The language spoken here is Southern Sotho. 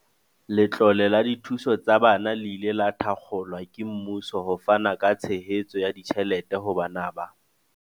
Letlole la dithuso tsa bana le ile la thakgolwa ke mmuso ho fana ka tshehetso ya ditjhelete ho bana ba